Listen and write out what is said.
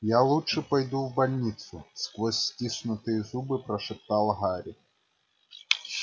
я лучше пойду в больницу сквозь стиснутые зубы прошептал гарри